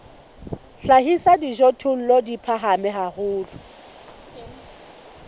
hlahisa dijothollo di phahame haholo